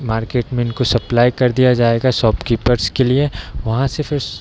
market में इनको supply कर दिया जायेगा शॉप कीपर्स के लिए वहाँ से फिर --